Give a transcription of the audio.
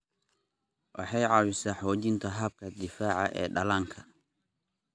Waxay caawisaa xoojinta habka difaaca ee dhallaanka.